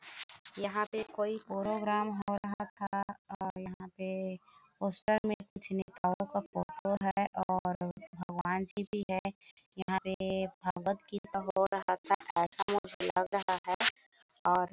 यहाँ पे कोई पोरोग्राम हो रहा था और यहाँ पे पोस्टर में कुछ नेताओं का फोटो है और भगवान जी भी है यहाँ पे भागवत गीता हो रहा था ऐसा मुझे लग रहा है और--